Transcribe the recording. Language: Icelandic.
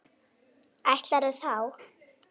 Ætlarðu þá.?